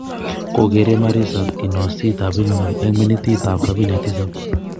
Kogere Marisa kinoosit ap Birmingham eng' minitiit ap 77